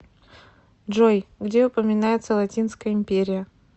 джой где упоминается латинская империя